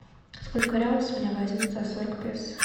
сколько реалов с меня возьмут за сорок песо